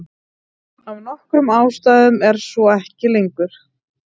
Af nokkrum ástæðum er svo ekki lengur.